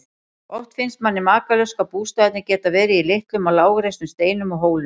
Oft finnst manni makalaust hvað bústaðirnir geta verið í litlum og lágreistum steinum og hólum.